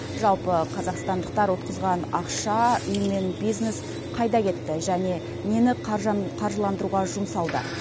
жалпы қазақстандықтар ұтқызған ақша үй мен бизнес қайда кетті және нені қаржыландыруға жұмсалды